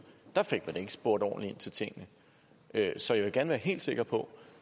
ikke fik spurgt ordentligt ind til tingene så jeg vil gerne være helt sikker på